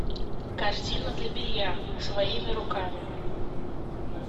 корзина для белья своими руками